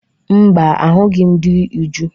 Mba, ahụghị m di Uju.